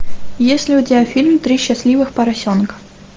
есть ли у тебя фильм три счастливых поросенка